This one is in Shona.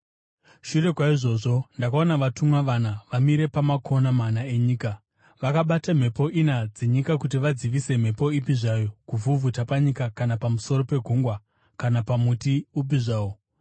Shure kwaizvozvi, ndakaona vatumwa vana vamire pamakona mana enyika, vakabata mhepo ina dzenyika kuti vadzivise mhepo ipi zvayo kuvhuvhuta panyika kana pamusoro pegungwa kana pamuti upi zvawo.